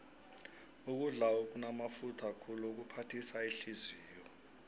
ukudla okunamafutha khulu kuphathisa ihliziyo